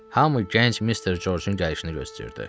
Hamı gənc Mister Corcun gəlişini gözləyirdi.